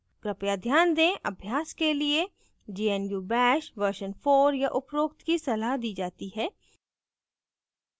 कृपया ध्यान दें अभ्यास के लिए gnu bash version 4 या उपरोक्त की सलाह दी जाती है